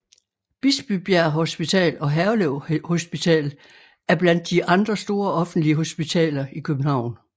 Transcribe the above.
Bispebjerg Hospital og Herlev Hospital er blandt de andre store offentlige hospitaler i København